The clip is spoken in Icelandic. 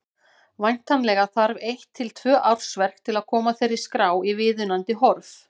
Væntanlega þarf eitt til tvö ársverk til að koma þeirri skrá í viðunandi horf.